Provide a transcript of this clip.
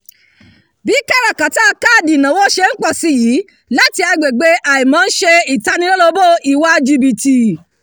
bí káràkátà káàdì ìnáwó ṣe ń pọ̀ sí i yìí láti agbègbè àìmọ̀ ń ṣe ìtanilólobó ìwà jìbìtì